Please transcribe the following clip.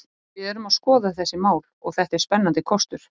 Við erum að skoða þessi mál og þetta er spennandi kostur.